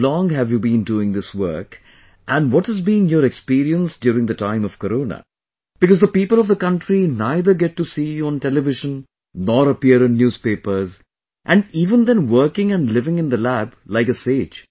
How long have you been doing this work and what has been your experience during the time of Corona, because the people of the country neither get to see you on television nor appear in newspapers, even then working and living in the lab like a sage